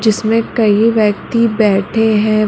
जिसमें कई व्यक्ति बैठे हैं।